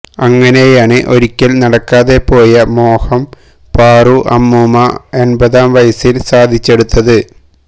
അങ്ങനെയാണ് ഒരിക്കൽ നടക്കാതെ പോയ മോഹം പാറു അമ്മൂമ്മ എൺപതാം വയസിൽ സാധിച്ചെടുത്തത്